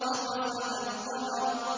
وَخَسَفَ الْقَمَرُ